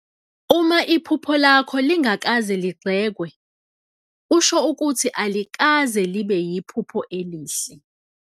Uma iphupho lakho lingazange ligxekwe, kusho ukuthi alikaze libe yiphupho elihle.